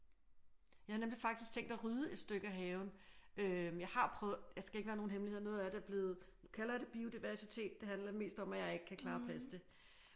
Jeg havde nemlig faktisk tænkt at rydde et stykke af haven øh jeg har prøvet det skal ikke være nogen hemmelighed noget af det er blevet nu kalder jeg det biodiversitet det handler mest om jeg ikke kan klare at passe det